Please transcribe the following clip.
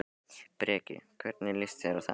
Breki: Hvernig líst þér á þetta?